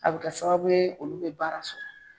A bi kɛ sababu olu bi baara sɔrɔ